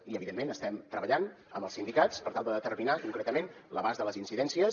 i evidentment estem treballant amb els sindicats per tal de determinar concretament l’abast de les incidències